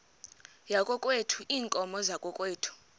yakokwethu iinkomo zakokwethu